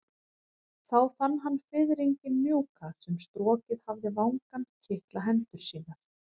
Þá fann hann fiðringinn mjúka sem strokið hafði vangann kitla hendur sínar.